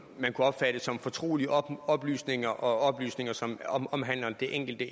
man kunne opfatte som fortrolige oplysninger og oplysninger som omhandler det enkelte